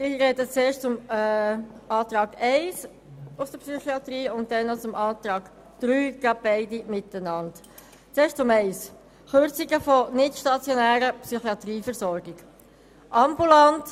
Ich spreche zuerst zur Planungserklärung 1 und anschliessend zur Planungserklärung 3. «